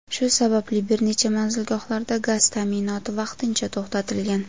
Shu sababli bir necha manzilgohlarda gaz ta’minoti vaqtincha to‘xtatilgan.